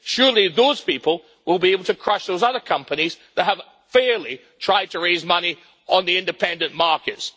Surely, those people will be able to crush those other companies that have fairly tried to raise money on the independent markets.